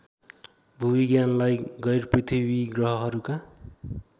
भूविज्ञानलाई गैरपृथ्वी ग्रहहरूका